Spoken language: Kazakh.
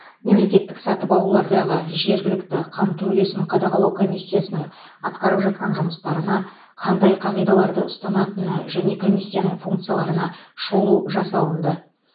мемлекеттік сатып алулардағы жергілікті қамту үлесін қадағалау комиссиясының атқарып жатқан жұмыстарына қандай қағидаларды ұстанатыны және комиссияның функцияларына шолу жасалынды